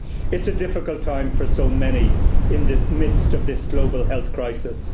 It's a difficult time for so many in the midst of this global health crisis.